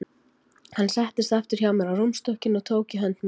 Hann settist aftur hjá mér á rúmstokkinn og tók í hönd mína.